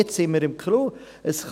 Jetzt haben wir die Krux.